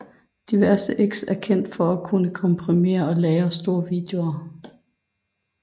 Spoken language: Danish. DivX er kendt for at kunne komprimere lange og store videoer